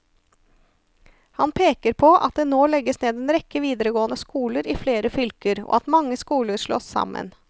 Han peker på at det nå legges ned en rekke videregående skoler i flere fylker, og at mange skoler slås sammen.